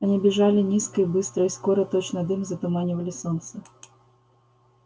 они бежали низко и быстро и скоро точно дым затуманивали солнце